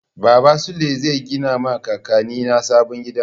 Baba Sule zai gina ma kakanni na sabon gida.